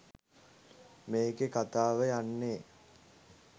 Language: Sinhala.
මේකේ කතාව යන්නේ